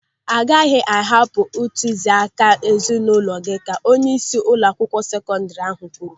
"Ị gaghị ahapụ ntụziaka ezinụlọ gị", ka onyeisi ụlọakwụkwọ sekọndiri ahụ kwuru.